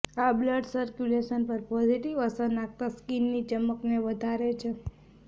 આ blood circulation પર positive અસર નાખતા સ્કીનની ચમકને વધારે છે